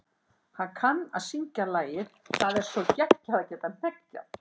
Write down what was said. Hann kann að syngja lagið Það er svo geggjað að geta hneggjað.